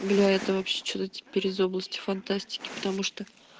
бля это вообще что-то теперь из области фантастики потому что